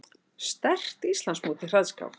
Sterkt Íslandsmót í hraðskák